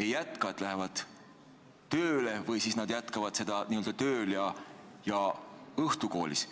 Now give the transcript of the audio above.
ei jätka – lähevad tööle või siis nad jätkavad seda n-ö tööl ja õhtukoolis.